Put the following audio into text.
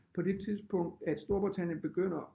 På det tidspunkt at Storbritannien begynder